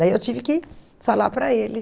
Daí eu tive que falar para ele.